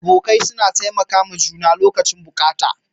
Abokai suna taimakawa juna lokacin buƙata.